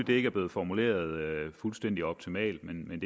det ikke er blevet formuleret fuldstændig optimalt men